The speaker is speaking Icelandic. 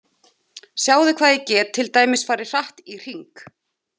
Sjáðu hvað ég get til dæmis farið hratt í hring.